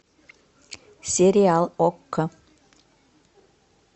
сериал окко